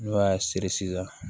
N'o y'a siri sisan